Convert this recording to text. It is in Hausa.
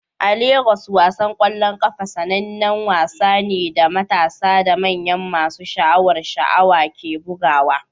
A Legas, wasan ƙwallon ƙafa sanannen wasa ne da matasa da manya masu sha'awar sha'awa ke bugawa.